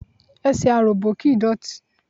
Ẹsẹ̀ aròbó kìí dọ̀tí.